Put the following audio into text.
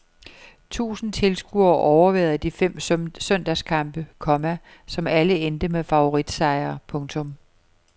Tusind tilskuere overværede de fem søndagskampe, komma som alle endte med favoritsejre. punktum